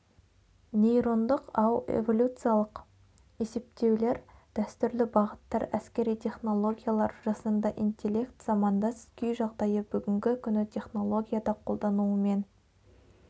нейрондық ау эволюциялық есептеулер дәстүрлі бағыттар әскери технологиялар жасанды интелект замандас күй-жағдайы бүгінгі күні технологияда қолдануымен